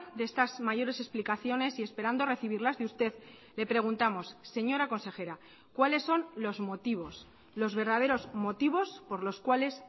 de estas mayores explicaciones y esperando recibirlas de usted le preguntamos señora consejera cuáles son los motivos los verdaderos motivos por los cuales